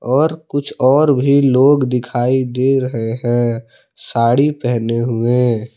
और कुछ और भी लोग दिखाई दे रहे हैं साड़ी पहने हुए।